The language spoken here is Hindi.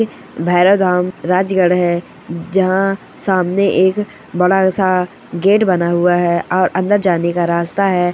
भैरव धाम राजगढ़ है जहाँ सामने एक बड़ा सा गेट बना हुआ है और अंदर जाने का रास्ता है।